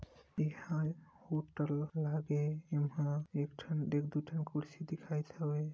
यहाँ होटल लागे एहा पर एक ठन एक दु ठन कुर्सी दिखाईत हवै--